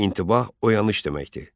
İntibah oyanış deməkdir.